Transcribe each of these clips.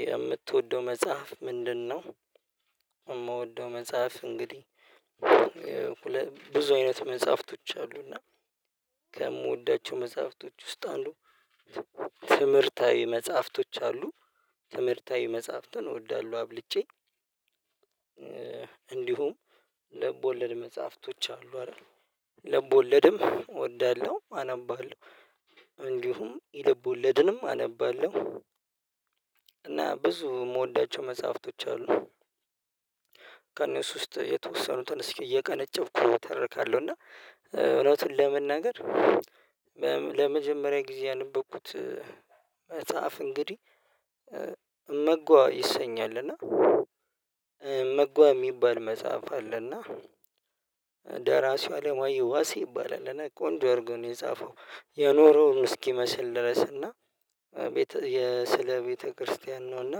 የምትወደው መጽሐፍ ምንድነው? የምወደው መጽሐፍ እንግዲህ ብዙ አይነት መጽሐፍቶች አሉና ከምወዳቸው መጽሐፍቶች ውስጥ አንዱ አሉ ትምህርታዊ መጽሐፍቶች አሉ ትምህርታዊ መጽሐፍትን እወዳለሁ አብልጬ። እንዲሁም ልብወለድ መጽሐፍቶች አሉ አይደል ልብወለድም እወዳለሁ አነባለሁ። እንዲሁም የልብ ወለድንም አነባለሁ እና ብዙ የምወዳቸው መጽሐፍቶች አሉ። ከእነሱ ውስጥ የተወሰኑትን እስኪ እየቀነጨውኩ ተረካለሁ እና እውነቱን ለመናገር ለመጀመሪያ ጊዜ ያነበብኩት መጽሐፍ እንግዲህ መጓ ይሰኛል። እና መጓ የሚባል መጽሐፍ አለና ደራሲው አለማየሁ ዋሲ ይባላል እና ቆንጆ ኣርጎ ነው የጻፈው። የኖረውን እስኪመስል ድረስ እና ስለ ቤተክርስቲያን ነው እና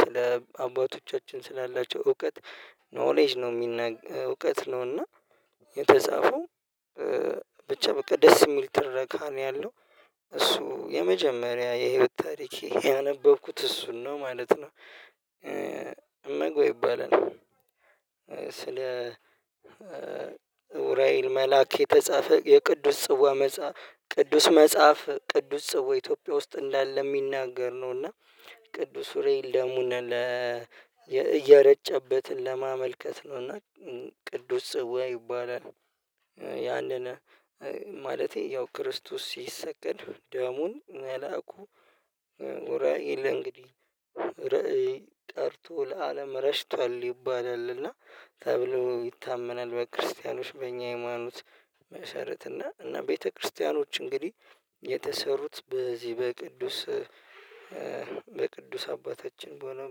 ስለ አባቶቻችን ስላላቸው እውቀት ኖሌጅ ነው የሚናገር እውቀት ነው። ነውና የተጻፈው ብቻ በቃ ደስ የሚል ትረካ ነው ያለው እሱ የመጀመሪያ የህይወት ታሪክ ያነበብኩት እሱን ነው ማለት ነው። እመግበው ይባላል ስለ ኡራኤል መላክ የተጻፈ የቅዱስ ጽዋ ቅዱስ መጽሐፍ ቅዱስ ጽዋ ኢትዮጵያ ውስጥ እንዳለ የሚናገር ነው። እና ቅዱስ ኡራኤል ደሙነ ለ እየረጨበትን ለማመልከት ነውና ቅዱስ ጽዋ ይባላል። ያንን ማለቴ ያው ክርስቶስ ሲሰቀል ደሙን መላኩ ራዕይ ለእንግዲህ ራዕይ ጠርቶ ለአለም ረሽቷል ይባላል እና ተብሎ ይታመናል። በክርስቲያኖች በእኛ የሃይማኖት መሰረት እና ቤተክርስቲያኖች እንግዲህ የተሰሩት በዚህ በቅዱስ በቅዱስ አባታችን በሆነው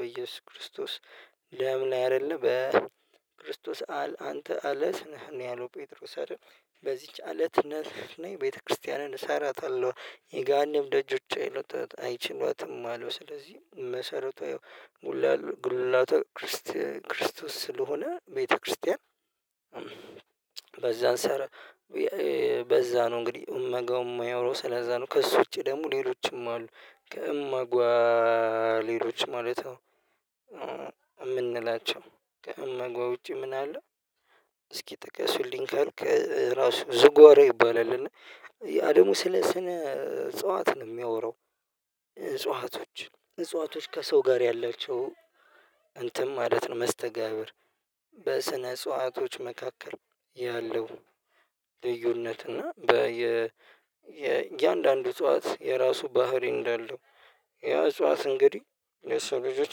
በኢየሱስ ክርስቶስ ለምን አይደለም በክርስቶስ አል አንተ አለት ነህ ነህ ያለው ጴጥሮስ አይደል በዚህች አለት ነህ ነህ የቤተክርስቲያንን እሰራታለሁ የጋሃነም ደጆች አይችሏትም አለው። ስለዚህ መሰረቱ ይሄው ሙላቱ ጉልላቱ ክርስቲያን ክርስቶስ ስለሆነ ቤተክርስቲያን። በዛን ሰር በዛ ነው እንግዲህ እመጋው የማያወራው ስለዛ ነው። ከእሱ ውጪ ደግሞ ሌሎችም አሉ ከእመጋ ሌሎች ማለት ነው። የምንላቸው ከእመጋ ውጪ ምን አለ? እስኪ ጥቅስ ካልክ ራሱ ዝጓሮ ይባላል እና አደሙ ስነ ስነ እጽዋት ነው የሚያወራው። እጽዋቶች እጽዋቶች ከሰው ጋር ያላቸው እንትን ማለት ነው መስተጋብር። በስነ ጽዋቶች መካከል ያለው ልዩነት እና በየ የእያንዳንዱ እጽዋት የራሱ ባህሪ እንዳለው። ያ እጽዋት እንግዲህ የሰው ልጆች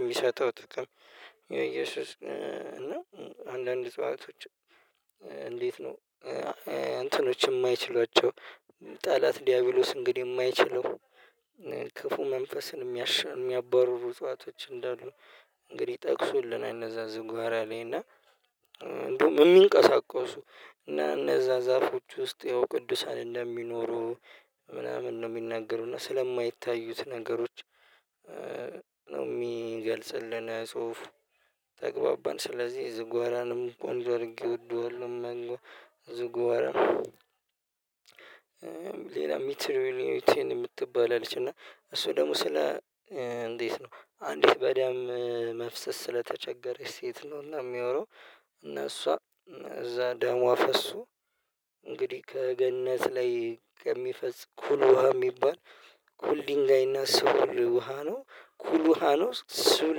የሚሰጠው ጥቅም። የእየሱስ እና አንዳንድ እጽዋቶች እንዴት ነው እንትኖች የማይችሏቸው? ጠላት ዲያቢሎስ እንግዲህ የማይችለው ክፉ መንፈስን የሚያባርሩ ጠዋቶች እንዳሉ እንግዲህ ጠቅሶልናል። እና አነዛ ዝጓራ ላይ እና እንደውም የሚንቀሳቀሱ እና እነዛ ዛፎች ውስጥ ያው ቅዱሳን እንደሚኖሩ ምናምን ነው የሚናገሩና ስለማይታዩት ነገሮች። ነው የሚገልጽልን የጽሁፉ ተግባባን ስለዚህ ዝጎራንም ጎንዶር ይወደዋል። መንገድ ዝግዋራም ሌላ ሚትር የምትባል አለች እና እሱ ደግሞ ስለ እንዴት ነው አንድ በደም መፍሰስ ስለተቸገረች ሴት ነውና የሚያወራው። እና እሷ እዛ ደሟ ፈሶ እንግዲህ ከገነት ላይ ከሚፈስ ኩል ውሃ የሚባል ኩል ድንጋይና ሱል ውሃ ነው። ኩል ውሃ ነው ሱል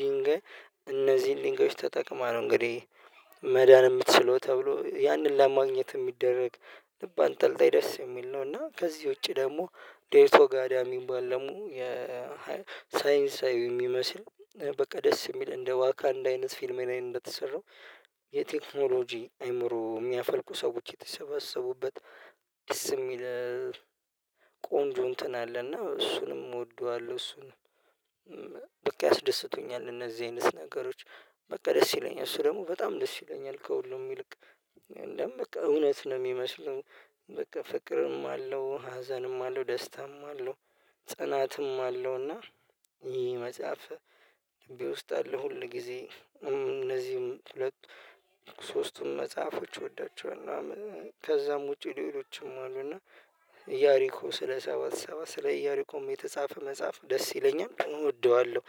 ድንጋይ እነዚህን ድንጋዮች ተጠቅማ ነው እንግዲህ መዳን የምትችለው ተብሎ ያንን ለማግኘት የሚደረግ ልብ አንጠልጣይ ደስ የሚል ነው። እና ከዚህ ውጪ ደግሞ ዴርቶ ጋዳ የሚባል ደግሞ የሳይንሳዊ የሚመስል በቃ ደስ የሚል እንደ ዋካ እንዳ አይነት ፊልም ነው እንደተሰራው። የቴክኖሎጂ አይምሮ የሚያፈልቁ ሰዎች የተሰበሰቡበት ደስ የሚል ቆንጆ እንትን አለና እሱንም እወደዋለሁ። እሱንም በቂ ኣስደስቶኛል እነዚህ አይነት ነገሮች በቃ ደስ ይለኛል። እሱ ደሞበጣም ደስ ይለኛል ከሁሉም ይልቅ እንደውም በቃ እውነት ነው የሚመስለው። በቃ ፍቅርም አለው ሀዘንም አለው ደስታም አለው። ጸናትም አለው እና ይሄ መጽሐፍ ልቤ ውስጥ አለ። ሁል ጊዜ እነዚህም ሁለት ሶስቱም መጽሐፎች ወዳቸው። ከዛም ውጪ ሌሎችም አሉና እያሪኮ ስለ ሰባት ሰባት ስለ እያሪኮም የተጻፈ መጽሐፍ ደስ ይለኛል እወደዋለሁ።